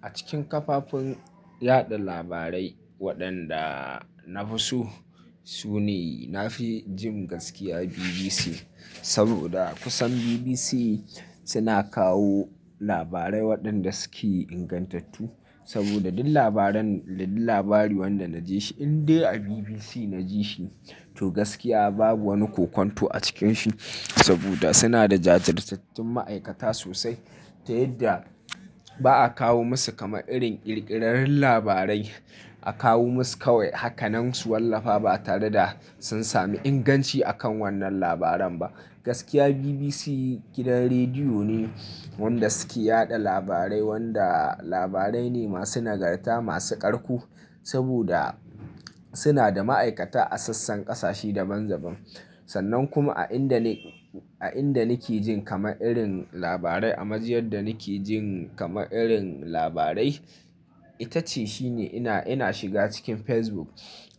A cikin kafofin yaɗa labarai waɗanda na fi so, su ne na fi jin gaskiya BBC saboda kusan BBC suna kawo labarai waɗanda suke ingantattu. Saboda duk labari wanda na ji shi in dai a BBC na ji shi to gaskiya babu wani kokwanto a cikin shi saboda suna da jajirtattun ma'aikata sosai. Ta yadda ba a kawo musu kama irin ƙirƙiraren labarai A kawo musu kawai hakanan su wallafa ba tare da sun sami inganci akan wannan labaren ba Gaskiya BBC gidan rediyo ne wanda suke yaɗa labarai wanda labarai ne masu nagarta, masu ƙarku saboda suna da ma'aikata a sassan ƙasashe daban-daban. Sannan kuma a inda ni, a inda nake jin kama irin labarai a majiyar da nake jin kama irin labarai, ita ce shi ne ina, ina shiga cikin Facebook.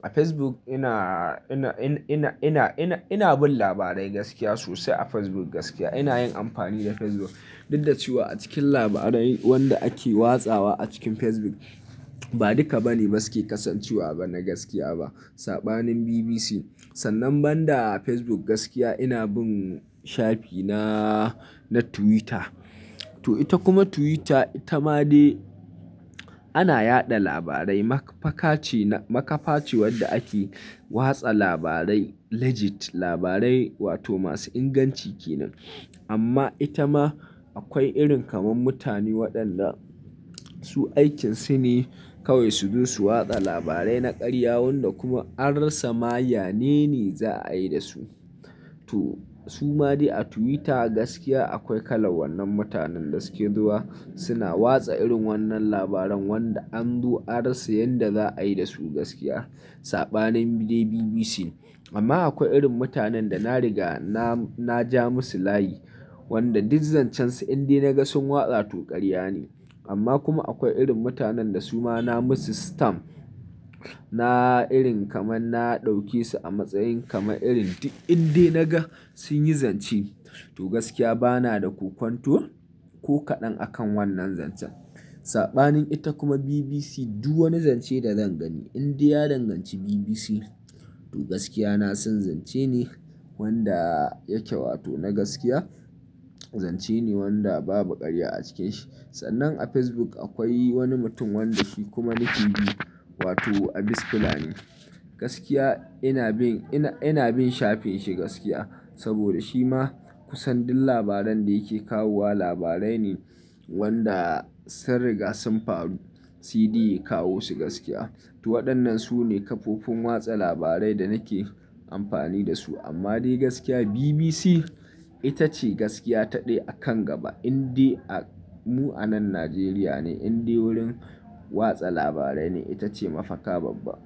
A Facebook ina, ina, ina, ina, ina, ina, ina bin labarai gaskiya sosai a Facebook gaskiya ina yin amfani da Facebook. Duk da cewa a cikin labarai wanda ake watsa wa a cikin Facebook ba duka ba ne basu ke kasancewa ba na gaskiya ba. Saɓanin BBC sannan banda Facebook gaskiya ina bin shafi na, na Twitter. To ita kuma Twitter ita ma dai ana yaɗa labarai. Makafa ce, makafa ce wanda ake watsa labarai legit, labarai wato masu inganci kenan. Amma ita ma akwai irin kamar mutane waɗanda su aikin su ne kawai su zo su watsa labarai na ƙarya wanda kuma an rasa ma yanene za a yi da su. To su ma dai a Twitter gaskiya akwai kalan wannan mutanen da suke zuwa suna watsa irin wannan labaran wanda an zo an rasa yan da za a yi da su gaskiya. Saɓanin dai BBC amma akwai irin mutanen da na riga na, na ja musu layi wanda duk zancen su in dai na ga sun watsa to ƙarya ne. Amma kuma akwai irin mutanen da su ma na musu stamp. Na irin kamar na ɗauke su a matsayin kama irin duk in dai na ga sun yi zance to gaskiya bana da ƙoƙwanto ko kaɗan akan wannan zancen. Saɓanin ita kuma BBC duk wani zance da zan gani in dai ya danganci BBC to gaskiya na san zance ne wanda yake wato na gaskiya. Zance ne wanda babu ƙarya a cike shi. Sannan a Facebook akwai wani mutum wanda shi kuma nake bi wato Abis Fulani Gaskiya ina bin, ina, ina bin shafin shi gaskiya saboda shi ma kusan duk labaran da yake kawowa labarai ne wanda sun riga sun faru. T D ya kawo su gaskiya. To waɗannan su ne kafofin watsa labarai da nake amfani da su. Amma dai gaskiya BBC ita ce gaskiya ta ɗai a kan gaba. In dai a mu anan Najeriya ne in dai wurin watsa labarai ne ita ce mafaka babba.